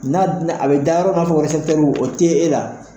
N'a bɛna, a bɛ da yɔrɔ o tɛ e la.